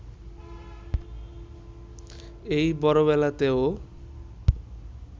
এই বড়বেলাতেও